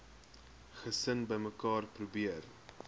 gesin bymekaar probeer